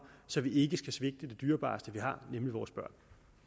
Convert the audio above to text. så vi ikke skal svigte det dyrebareste vi har nemlig vores børn